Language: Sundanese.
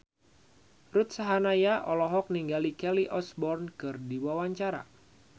Ruth Sahanaya olohok ningali Kelly Osbourne keur diwawancara